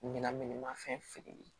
Ɲinan fɛn feere